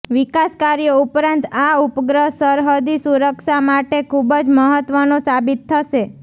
વિકાસ કાર્યો ઉપરાંત આ ઉપગ્રહ સરહદી સુરક્ષા માટે ખૂબ જ મહત્ત્વનો સાબિત થશે